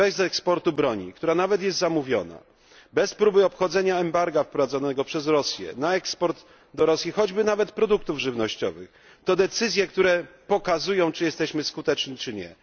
bez eksportu broni, która nawet jest zamówiona, bez próby obchodzenia embarga wprowadzonego przez Rosję na eksport do Rosji choćby nawet produktów żywnościowych, to decyzje, które pokazują, czy jesteśmy skuteczni, czy nie.